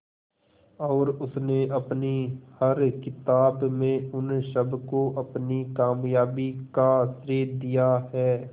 और उसने अपनी हर किताब में उन सबको अपनी कामयाबी का श्रेय दिया है